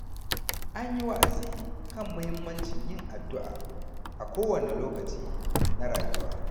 An yi wa’azi kan muhimmancin yin addu’a a kowane lokaci na rayuwa.